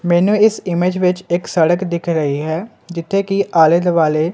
ਮੈਨੂੰ ਇਸ ਇਮੇਜ ਵਿੱਚ ਇੱਕ ਸੜਕ ਦਿਖ ਰਹੀ ਹੈ ਜਿੱਥੇ ਕਿ ਆਲੇ ਦੁਆਲੇ--